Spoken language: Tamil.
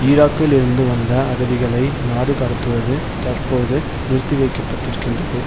ஈராக்கில் இருந்து வந்த அகதிகளை நாடுகடத்துவது தற்போது நிறுத்திவைக்கப்பட்டிருக்கின்றது